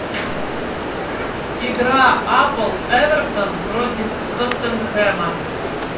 игра апл эвертон против тоттенхэма